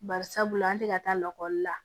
Bari sabula an tɛ ka taa lakɔli la